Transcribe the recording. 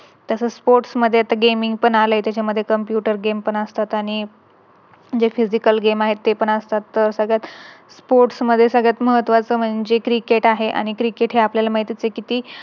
तसच Sports मध्ये Gaming पण आले. त्याच्यामध्ये Computer game पण असतात आणि जे Physical game आहे ते पण असतात तर सगळंच Sports मध्ये सगळ्यात महत्त्वाचे म्हणजे Cricket आहे आणि Cricket हे आपल्याला माहिती च आहे किती